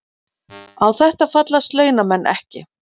Á þetta fallast launamenn ekki